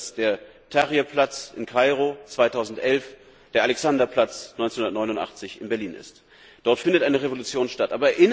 Ich finde, dass der Tahrir Platz in Kairo 2011 ist, was der Alexanderplatz 1989 in Berlin war. Dort findet eine Revolution statt.